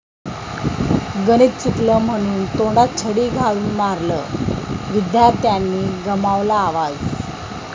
गणित चुकलं म्हणून तोंडात छडी घालून मारलं, विद्यार्थ्याने गमावला आवाज!